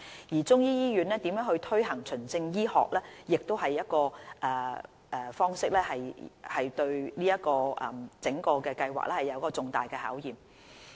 而中醫醫院如何推行循證醫學的方式對整個計劃亦是重大考驗。